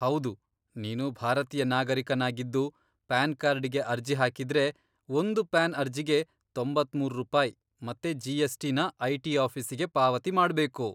ಹೌದು, ನೀನು ಭಾರತೀಯ ನಾಗರೀಕನಾಗಿದ್ದು ಪಾನ್ ಕಾರ್ಡಿಗೆ ಅರ್ಜಿ ಹಾಕಿದ್ರೆ, ಒಂದು ಪಾನ್ ಅರ್ಜಿಗೆ ತೊಂಬತ್ಮೂರ್ ರೂಪಾಯಿ ಮತ್ತೆ ಜಿಎಸ್ಟಿ ನ ಐಟಿ ಆಫೀಸಿಗೆ ಪಾವತಿ ಮಾಡ್ಬೇಕು.